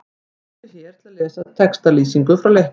Smelltu hér til að lesa textalýsingu frá leiknum.